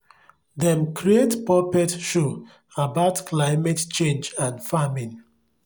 dem create puppet show about climate change and farming